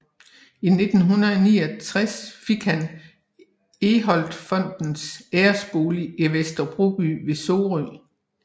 I 1969 fik han Egholtfondens æresbolig i Vester Broby ved Sorø